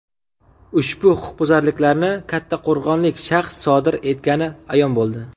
Ushbu huquqbuzarlikni kattaqo‘rg‘onlik shaxs sodir etgani ayon bo‘ldi.